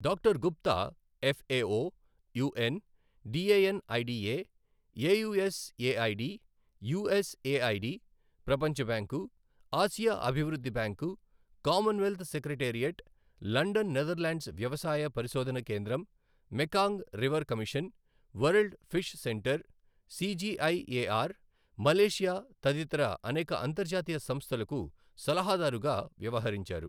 Doctor Gupta FAO, UN, DANIDA, AUSAID, USAID, ప్రపంచబ్యాంకు, ఆసియా అభివృద్ధి bank, commonwealth secretariat, London Netherlands వ్యవసాయ పరిశోధన కేంద్రం, Mekong river commission, world fish centre, CGIAR, Malaysia తదితర అనేక అంతర్జాతీయ సంస్థలకు సలహాదారుగా వ్యవహరించారు.